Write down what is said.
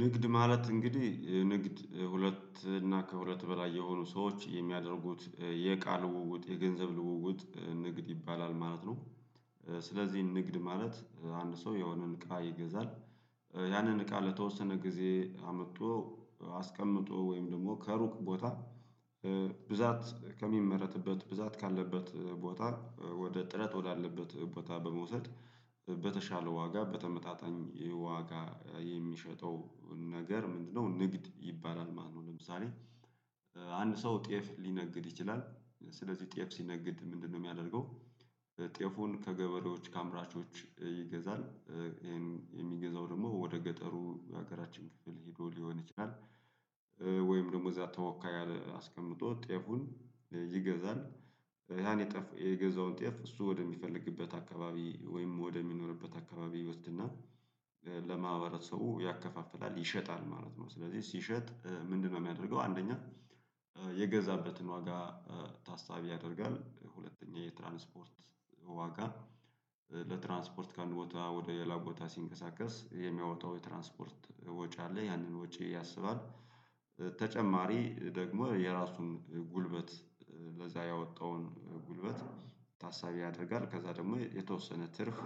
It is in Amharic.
ንግድ ማለት እንግዲህ ንግድ ሁለት እና ከሁለት በላይ የሆኑ ሰዎች የሚያደርጉት የእቃ ልውውጥ የገንዘብ ልውውጥ ንግድ ይባላል ማለት ነው። ስለዚህ ንግድ ማለት አንድ ሰው የሆነን እቃ ይገዛል። ያንን እቃ ለተወሰነ ጊዜ አመጥቶ አስቀምጦ ወይም ደግሞ ከሩቅ ቦታ ብዛት ከሚመረትበት ብዛት ካለበት ቦታ ወደ እጥረት ወዳለበት ቦታ በመውሰድ በተሻለ ዋጋ በተመጣጣኝ ዋጋ የሚሸጠው ነገር ምንድነው ንግድ ይባላል ማለት ነው? ለምሳሌ አንድ ሰው ጤፍ ሊነግድ ይችላል። ስለዚህ ጤፍ ሲነግድ ምንድነው የሚያደርገው? ጤፉን ከገበሬዎች ከአምራቾች ይገዛል። ይሄን የሚገዛው ደግሞ ወደ ገጠሩ ሀገራችን ክፍል ሄዶ ሊሆን ይችላል። ወይም ደግሞ እዛ ተወካይ አስቀምጦ ጤፉን ይገዛል። ያን የገዛውን ጤፍ እሱ ወደሚፈልግበት አካባቢ ወይም ወደሚኖርበት አካባቢ ይወስድና ለማህበረሰቡ ያከፋፍላል ይሸጣል ማለት ነው። ስለዚህ ሲሸጥ ምንድነው የሚያደርገው? አንደኛ የገዛበትን ዋጋ ታሳቢ ያደርጋል ሁለተኛ የትራንስፖርት ዋጋ ለትራንስፖርት ከአንድ ቦታ ወደ ሌላ ቦታ ሲንቀሳቀስ የሚያወጣው የትራንስፖርት ወጪ አለ ያንን ወጪ ያሰባል ተጨማሪ ደግሞ የራሱን ጉልበት ለዛ ያወጣውን ጉልበት ታሳቢ ያደርጋል። ከዛ ደግሞ የተወሰነ ትርፍ